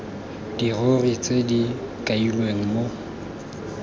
dirori tse di kailweng mo